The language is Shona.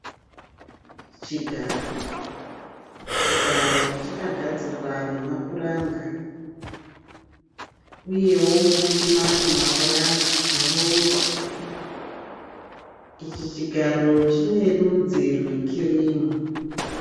Chigaro, chigaro chakagadzirwa nemapuranga, uyewo pane mamwe mapuranga akarongwa. Ichi chigaro chine rudzi rwe kirimu.